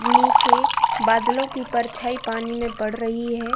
नीचे बादलों की परछाई पानी में पड़ रही है।